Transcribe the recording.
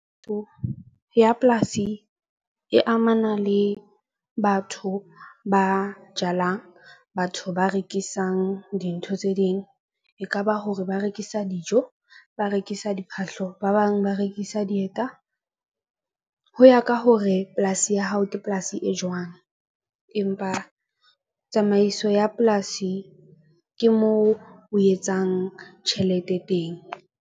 So, ya polasi e amana le batho ba jalang batho ba rekisang dintho tse ding, ekaba hore ba rekisa dijo, ba rekisa diphahlo ba bang ba rekisa dieta. Ho ya ka hore polasi ya hao ke polasi e jwang, empa tsamaiso ya polasi ke moo o etsang tjhelete teng.